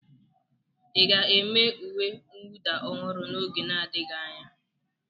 Ị ga-eme uwe mwụda ọhụrụ n'oge n'adịghị anya?